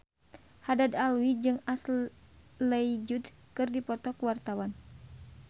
Haddad Alwi jeung Ashley Judd keur dipoto ku wartawan